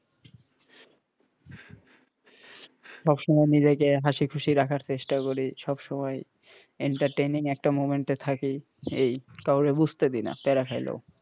সব সময় নিজেকে হাসি খুশি রাখার চেষ্টা করি সব সময় entertaining একটা moment এ থাকি এই কাউরে বুঝতে দেইনা প্যারাতে খাইলেও,